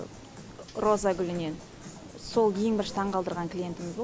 роза гүлінен сол ең бірінші таңғалдырған клиентіміз болды